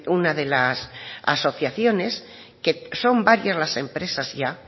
una de las asociaciones que son varias las empresas ya